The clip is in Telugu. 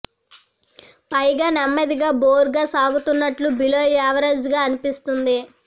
పైగా నెమ్మదిగా బోర్ గా సాగుతున్నట్టు బిలో యావరేజ్ గా అనిపిస్తుంది